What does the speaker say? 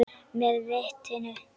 Með vitinu.